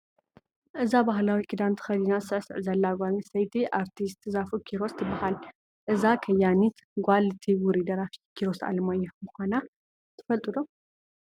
እዛ ባህላዊ ክዳን ተኸዲና ትስዕስዕ ዘላ ጓል ኣነስተይቲ ኣርቲስት ዛፉ ኪሮስ ትበሃል፡፡ እዛ ከያኒት ጓል እቲ ውሩይ ደራፊ ኪሮስ ኣለማዮህ ምዃና ትፈልጡ ዶ?